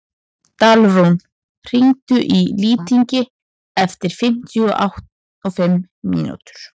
Dalrún, hringdu í Lýting eftir fimmtíu og fimm mínútur.